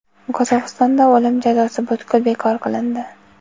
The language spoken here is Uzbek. Qozog‘istonda o‘lim jazosi butkul bekor qilindi.